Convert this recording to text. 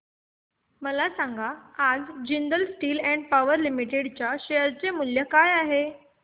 मला सांगा आज Jindal steel and power limited च्या शेअर चे मूल्य काय आहे